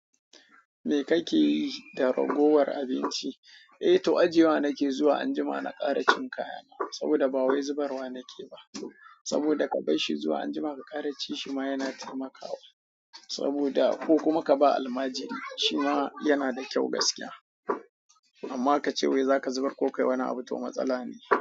Me kake yi da ragowar abinci? Eh toh ajiyewa nake yi zuwa anjima na ƙara cin kaya na. Saboda ba wai zubarwa nake yi ba. Saboda ka bar shi zuwa anjima ka ƙara ci shi ma yana taimakawa. Saboda ko kuma ka ba almajiri shi ma yana da kyau gaskiya. Amma ka ce wai za ka zubar ko kayi wani abu to matsala ne.